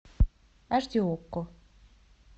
аш ди окко